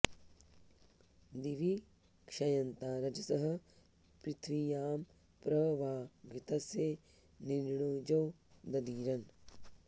दि॒वि क्षय॑न्ता॒ रज॑सः पृथि॒व्यां प्र वां॑ घृ॒तस्य॑ नि॒र्णिजो॑ ददीरन्